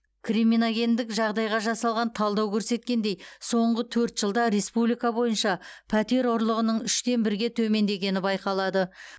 криминогендік жағдайға жасалған талдау көрсеткендей соңғы төрт жылда республика бойынша пәтер ұрлығының үштен бірге төмендегені байқалады